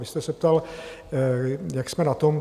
Vy jste se ptal, jak jsme na tom.